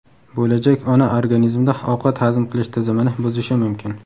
bo‘lajak ona organizmida ovqat hazm qilish tizimini buzishi mumkin.